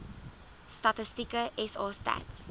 statistieke sa stats